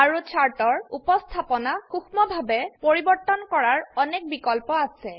আৰু চাৰ্টৰ উপস্থাপনা সুক্ষ্মভাবে পৰিবৰ্তন কৰাৰ অনেক বিকল্প আছে